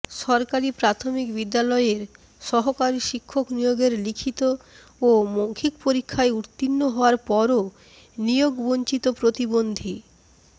সরকারি প্রাথমিক বিদ্যালয়ের সহকারী শিক্ষক নিয়োগের লিখিত ও মৌখিক পরীক্ষায় উত্তীর্ণ হওয়ার পরও নিয়োগবঞ্চিত প্রতিবন্ধী